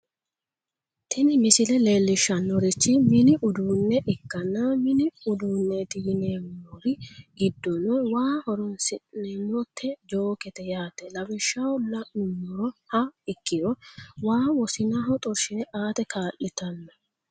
tini misile leellishshannorichi mini uduunne ikkanna mini uduunneeti yenewnmori giddono waa horoonsi'neemmote jookete yaate lawishshaho la'nummoha ikkiro waa wosinaho xorshine aate kaa'litanno.